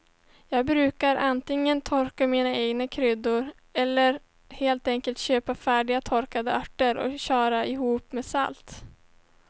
Jag brukar antingen torka mina egna kryddor eller helt enkelt köpa färdiga torkade örter och köra ihop med salt.